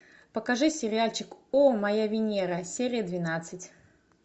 покажи сериальчик о моя венера серия двенадцать